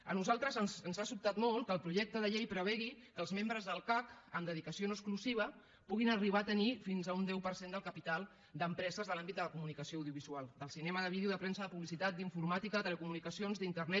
a nosaltres ens ha sobtat molt que el projecte de llei prevegi que els membres del cac amb dedicació no exclusiva puguin arribar a tenir fins a un deu per cent del capital d’empreses de l’àmbit de la comunicació audiovisual del cinema de vídeo de premsa de publicitat d’informàtica telecomunicacions d’internet